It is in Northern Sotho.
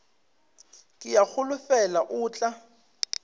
ke a holofela o tla